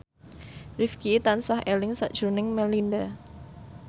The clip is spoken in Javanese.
Rifqi tansah eling sakjroning Melinda